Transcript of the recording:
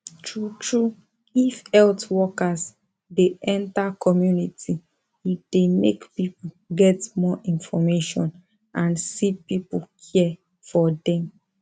true true if health workers dey enter community e dey make people get more information and se people care for dem